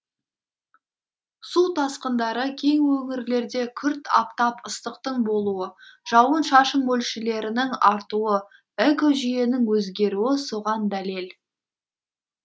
су тасқындары кей өңірлерде күрт аптап ыстықтың болуы жауын шашын мөлшелерінің артуы экожүйенің өзгеруі соған дәлел